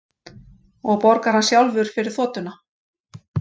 Og borgar hann sjálfur fyrir þotuna